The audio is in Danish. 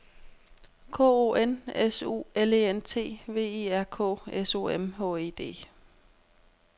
K O N S U L E N T V I R K S O M H E D